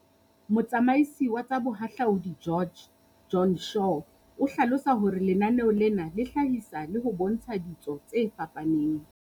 Motsamaisi wa tsa Boha hlaudi George, Joan Shaw, o hlalosa hore lenaneo lena le hlahisa le ho bontsha ditso tse fapaneng.